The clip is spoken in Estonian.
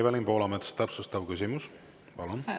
Evelin Poolamets, täpsustav küsimus, palun!